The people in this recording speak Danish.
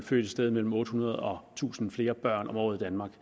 født et sted mellem otte hundrede og tusind flere børn om året i danmark